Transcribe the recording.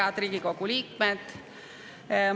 Head Riigikogu liikmed!